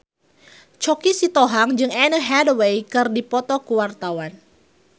Choky Sitohang jeung Anne Hathaway keur dipoto ku wartawan